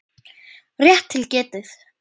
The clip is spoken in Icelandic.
Rétt til getið.